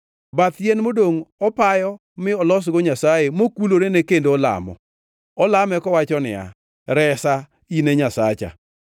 Bath yien modongʼ opayo mi olosgo nyasaye, mokulorene kendo olamo. Olame kowacho niya, “Resa in e nyasacha.”